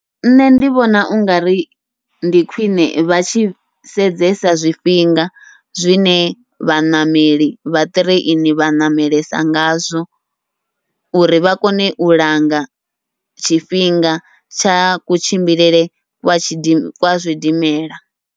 Nṋe ndi vhona ungari ndi khwiṋe vha tshi sedzesa zwifhinga zwine vhaṋameli vha ṱireini vha ṋamelesa ngazwo, uri vha kone u langa tshifhinga tsha kutshimbilele kwa tshidi kwa zwidimela.